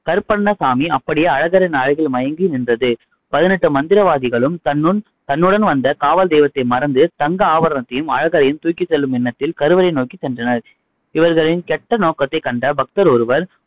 கருப்பண்ணசாமி அப்படியே அழகரின் அழகில் மயங்கி நின்றது. பதினெட்டு மந்திரவாதிகளும் தன்னுன் தன்னுடன் வந்த காவல் தெய்வத்தை மறந்து, தங்க ஆபரணத்தையும் அழகரையும் தூக்கி செல்லும் எண்ணத்தில் கருவறை நோக்கி சென்றனர். இவர்களின் கெட்ட நோக்கத்தை கண்ட பக்தர் ஒருவர்,